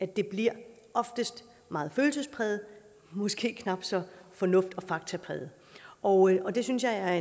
det bliver ofte meget følelsespræget og måske knap så fornuft og faktapræget og og det synes jeg er